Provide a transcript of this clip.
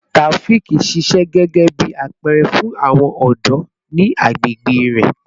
Taofiq ṣiṣẹ gẹgẹbi apẹẹrẹ fun awọn ọdọ ni agbegbe rẹ